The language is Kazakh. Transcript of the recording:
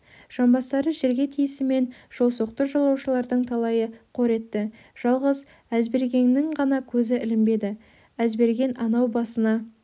жамбастары жерге тиісімен жолсоқты жолаушылардың талайы қор етті жалғыз әзбергеннің ғана көзі ілінбеді әзберген анау басына